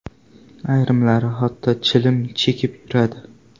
Ayrimlari hatto chilim chekib yuradi.